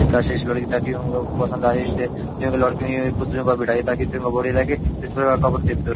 काशी इस लड़की टाइप की मलब पसंद आगई इसलिए जो ये लड़की दिखे पुतले पे बैठाई है ताकि इस्पे कपडे देखते रो।